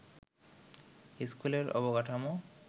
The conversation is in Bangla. স্কুলের অবকাঠমো